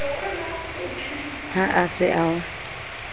ha a se a o